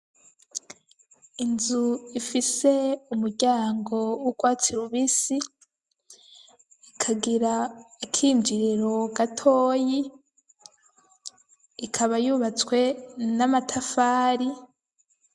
Inzu ifise umuryango w'ugwatsi rubisi ikagira akinjiriro gatoyi , ikaba yubatswe n'amatafari